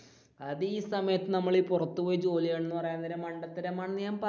അത് ഈ സമയത്തു നമ്മളീ പുറത്തു പോയി ജോലി ചെയ്യണമെന്ന് പറയാൻ നേരം മണ്ടത്തരമാണെന്നു ഞാൻ പ